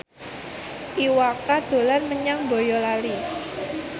Iwa K dolan menyang Boyolali